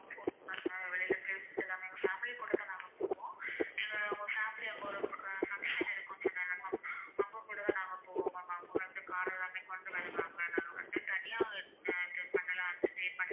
தனியா stay பண்ணலாம்னு.